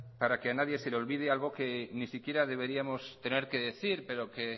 para que a nadie se le olvide algo que ni siquiera deberíamos tener que decir pero que